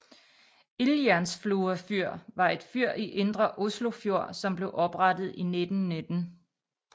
Ildjernsflua fyr var et fyr i Indre Oslofjord som blev oprettet i 1919